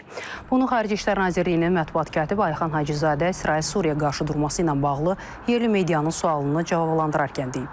Bunu Xarici İşlər Nazirliyinin mətbuat katibi Ayxan Hacızadə İsrail-Suriya qarşıdurması ilə bağlı yerli medianın sualını cavablandırarkən deyib.